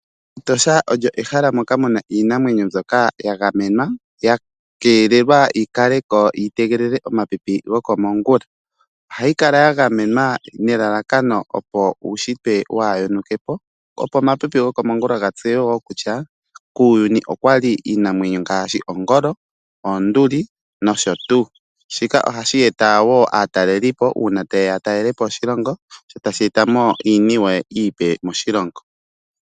Etosha olyo ehala moka muna iinamwenyo mbyoka ya gamenwa yakeelelwa yi kaleko yi tegelele omapipi goko mongula, ohayi kala ya gamenwa nelalakano uushitwe waa yonukepo nomapipi ta geya opo gatseye kutya kuuyuni okwali iinamwenyo ngaashi ongolo, oonduli nst. Shika ohashi eta wo aatalelipo uuna ta yeya ya talelepo shilongo sho tashi eta iiniwe iipe moshilongo.